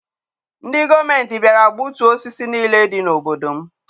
Ndị gọọmenti bịara gbutuo osisi niile dị n'obodo m.